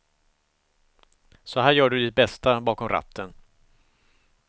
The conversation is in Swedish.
Så här gör du ditt bästa bakom ratten.